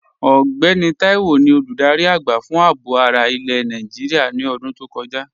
Ọgbẹ́nì Táíwò ni olúdárí agba fun àábò ara ilẹ̀ Nàìjíríà ní ọ̀dún tó kọja.